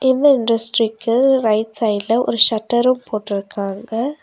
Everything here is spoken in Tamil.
இந்த இண்டஸ்ட்ரிக்கு ரைட் சைடுல ஒரு ஷட்டரு போட்ருக்காங்க.